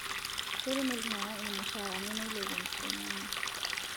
Ketum iltung'ana irmushaarani neilepu enkishon enye